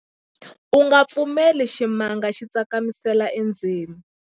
u nga pfumeleli ximanga xi tsakamisela endzeni